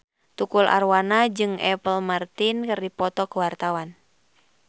Tukul Arwana jeung Apple Martin keur dipoto ku wartawan